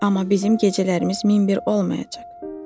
Amma bizim gecələrimiz min bir olmayacaq.